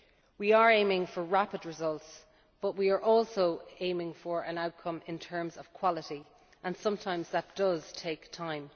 We are aiming for rapid results, but we are also aiming for an outcome in terms of quality and sometimes that does take